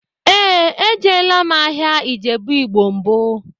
Éè, ejela m ahịa Ijebu igbo mbụ